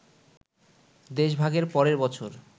দেশভাগের পরের বছর